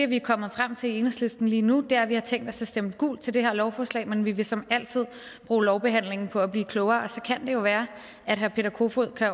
vi er kommet frem til i enhedslisten lige nu er at vi har tænkt os at stemme gult til det her lovforslag men vi vil som altid bruge lovbehandlingen på at blive klogere og så kan det jo være at herre peter kofod kan